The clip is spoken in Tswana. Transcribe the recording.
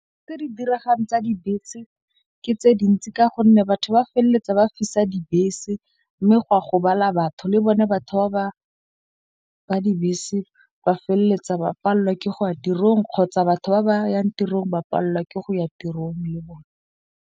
Tse di diragalang tsa dibese ke tse dintsi. Ka gonne batho ba feleletsa ba fisa dibese. Mme gwa gobala batho le bone batho ba ba ba dibese ba feleletsa ba pallwa ke go ya tirong, kgotsa batho ba ba yang tirong ba pallwa ke go ya tirong le bone.